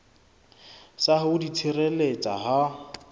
sa ho di tshireletsa ha